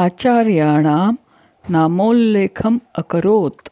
आचार्याणां नामोल्लेखम् अकरोत्